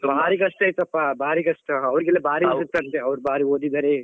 ಬಾರಿ ಕಷ್ಟ ಇತ್ತು ಅಪಾ ಅವ್ರಿಗೆಲ್ಲ ಬಾರಿ ಅಂತೆ ಅವ್ರು ಬಾರಿ ಓದಿದ್ದಾರೆ.